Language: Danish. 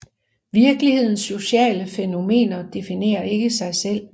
Virkelighedens sociale fænomener definerer ikke sig selv